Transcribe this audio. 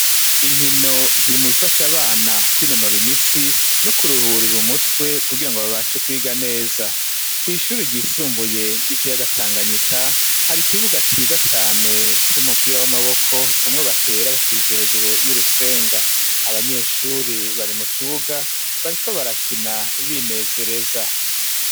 Inkino ziri mubifasha abana kwinonora imitsi, no ku ruhurira umutwe, kugira ngo babashe kwiga neza. Kw'ishure ryisumbuye ry'ikiyaga Tanganyika, hari ikibuga ciza cane, c'umupira w'amaboko, umwe batera bacishije hejuru y'urusenga. Abanyeshuri bari mu kibuga, bariko barakina, binezereza.